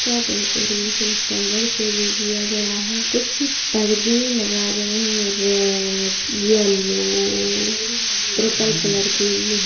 का decoration flower से भी किया गया है कुछ पर्दे लगाए गए हैं रेड येलो पर्पल कलर के भी हैं।